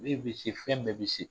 bɛ se fɛn bɛɛ bɛ se